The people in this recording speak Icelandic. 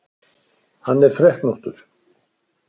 Hann er freknóttur.